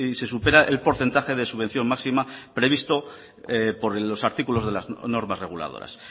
se supera el porcentaje de subvención máxima previsto por los artículos de las normas reguladoras